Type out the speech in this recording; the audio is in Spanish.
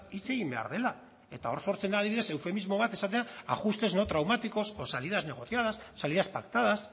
hitz egin behar dela eta hor sortzen da adibidez eufemismo bat esatea ajustes no traumáticos o salidas negociadas salidas pactadas